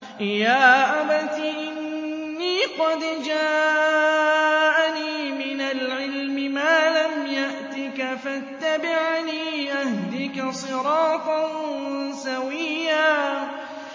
يَا أَبَتِ إِنِّي قَدْ جَاءَنِي مِنَ الْعِلْمِ مَا لَمْ يَأْتِكَ فَاتَّبِعْنِي أَهْدِكَ صِرَاطًا سَوِيًّا